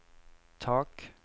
tak